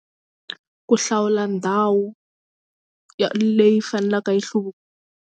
Ku hlawula ndhawu ya leyi faneleke yi .